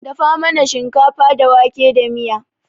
Dafa mana shinkafa da wake da miya.